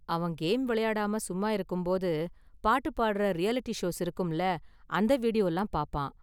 அவன் கேம் விளையாடாம சும்மா இருக்கும் போது, பாட்டு பாடுற ரியாலிட்டி ஷோஸ் இருக்கும்ல, அந்த வீடியோலாம் பார்ப்பான்.